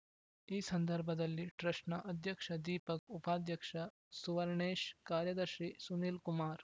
ಈ ಸಂದರ್ಭದಲ್ಲಿ ಟ್ರಸ್ಟ್‌ನ ಅಧ್ಯಕ್ಷ ದೀಪಕ್‌ ಉಪಾಧ್ಯಕ್ಷ ಸುವರ್ಣೇಶ್‌ ಕಾರ್ಯದರ್ಶಿ ಸುನೀಲ್‌ ಕುಮಾರ್‌